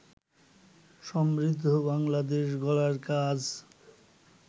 সমৃদ্ধ বাংলাদেশ গড়ার কাজ